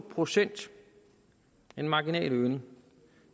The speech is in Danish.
procent en marginal øgning